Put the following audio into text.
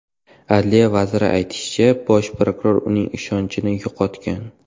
Adliya vaziri aytishicha, bosh prokuror uning ishonchini yo‘qotgan.